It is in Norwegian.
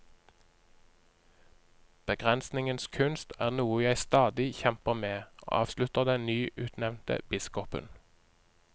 Begrensningens kunst er noe jeg stadig kjemper med, avslutter den nyutnevnte biskopen.